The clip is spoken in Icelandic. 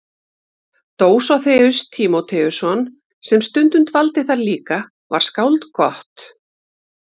Dósóþeus Tímóteusson sem stundum dvaldi þar líka var skáld gott.